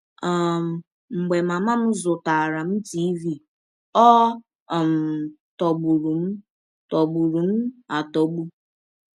“ um Mgbe mama m zụtaara m tiịvi, ọ um tọgbụrụ m tọgbụrụ m atọgbụ!